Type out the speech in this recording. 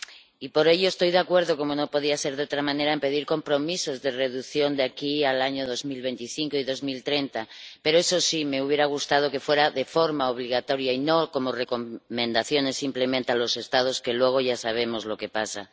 Y por ello estoy de acuerdo, como no podía ser de otra manera, en pedir compromisos de reducción de aquí al año 2025 y 2030. Pero, eso sí, me hubiera gustado que fuera de forma obligatoria, y no como recomendaciones simplemente a los Estados, que luego ya sabemos lo que pasa.